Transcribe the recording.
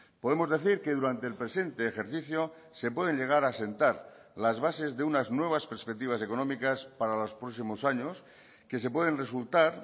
podemos decir que durante el presente ejercicio se pueden llegar a asentar las bases de unas nuevas perspectivas económicas para los próximos años que se pueden resultar